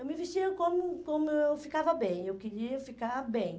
Eu me vestia como como eu ficava bem, eu queria ficar bem.